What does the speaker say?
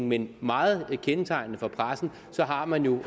men meget kendetegnende for pressen har man jo